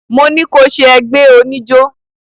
Mo ní ko ṣẹ ẹgbé oníjó!